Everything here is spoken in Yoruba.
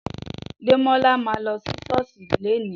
Dẹmọlà mà lọ si sọọsi lẹ̀ni.